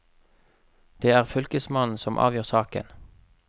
Det er fylkesmannen som avgjør saken.